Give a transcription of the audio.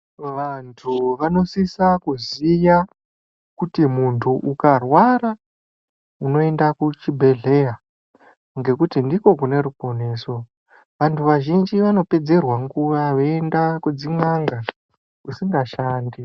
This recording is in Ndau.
Vantu vanositsa kuziya kuti muntu ukarwara unoenda kuchibhedhleya ngekuti ndiko kune ruponeso .Vantu vazhinji vanopedzerwa nguva yavo vaienda kudzin'anga kusingashandi.